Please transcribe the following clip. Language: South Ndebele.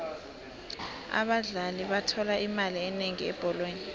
abadlali bathola imali enengi ebholweni